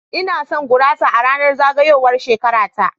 Ina son gurasa a ranar zagayowar shekara ta.